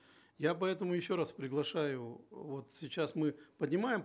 я поэтому еще раз приглашаю вот сейчас мы поднимаем